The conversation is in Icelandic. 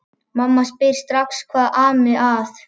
Mamma spyr strax hvað ami að.